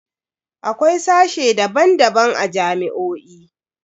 Akwai sashe daban-daban a jami'o'i.